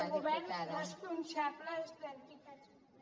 de govern responsables d’entitats